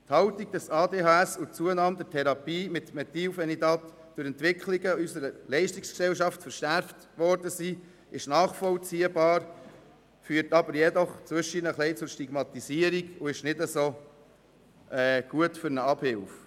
Die Haltung, dass ADHS und die Zunahme der Therapien mit Methylphenidat durch die Entwicklung unserer Leistungsgesellschaft verschärft worden sind, ist nachvollziehbar, führt ab und an auch zur Stigmatisierung und ist nicht ideal für eine Abhilfe.